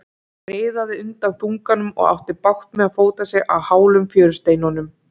Hann riðaði undan þunganum og átti bágt með að fóta sig á hálum fjörusteinunum.